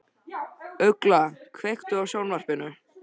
Ugla, kveiktu á sjónvarpinu.